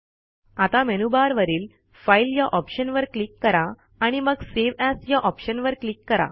आता मेनूबार वरील फाइल या ऑप्शनवर क्लिक करा आणि मग सावे एएस या ऑप्शनवर क्लिक करा